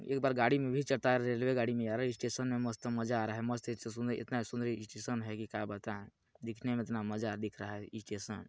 एक बार गाड़ी में भी चढता है रेल्वे गाड़ी में यार स्टेशन में मस्त मज़ा आ रहा है मस्त एक सुंदर इतना सुंदर स्टेशन है की का बताए दिखने में इतना मज़ा दिख रहा है स्टेशन --